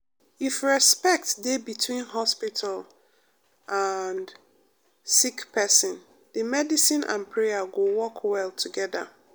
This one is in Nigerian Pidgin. if respect dey between hospital and sick pesin de medicine and prayer go work well togeda.